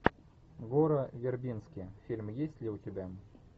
гора вербински фильм есть ли у тебя